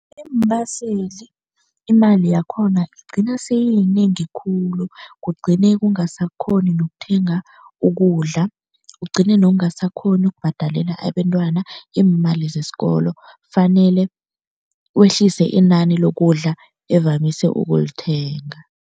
Iimbaseli imali yakhona igcina seyiyinengi khulu, kugcine ungasakghoni nokuthenga ukudla, ugcine nokungasakghoni ukubhadalela abentwana iimali zesikolo, fanele wehlise inani lokudla evamise ukulithenga.